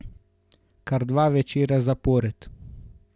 Kar dva večera zapored.